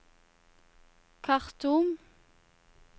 Khartoum